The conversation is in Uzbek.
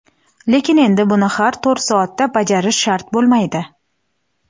lekin endi buni har to‘rt soatda bajarish shart bo‘lmaydi.